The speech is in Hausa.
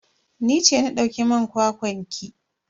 Ni ce na dauki man kwakwan ki.